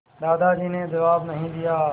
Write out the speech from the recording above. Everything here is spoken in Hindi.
दादाजी ने जवाब नहीं दिया